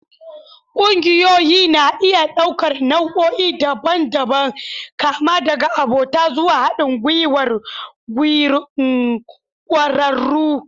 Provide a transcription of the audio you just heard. Ƙungiyoyi na iya ɗaukar nau'o'i daban-daban, kama daga abota zuwa haɗin gwiwar ƙwararru.